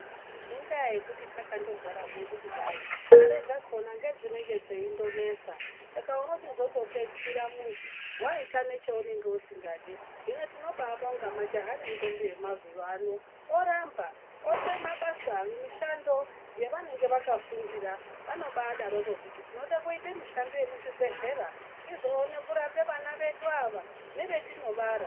Inda yekuti takandogara zvedu kudai mare dzakona ngedzinenge dzeingonesa. Saka unochizondo pedzisira muntu waita necheusingadi. Hino tinobabonga majaha nentombi dzemazuwano oramba, ode mabasa nemishando yavanenge vakafundira. Vanobadaroko kuti tinode kuite mishando muzvibhehlera tizoone kurape vana vedu ava nevetinobara.